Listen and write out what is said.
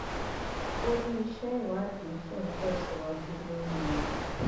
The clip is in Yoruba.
ó ní iṣẹ ìwádìí ṣì ń tẹsíwájú lórí wọn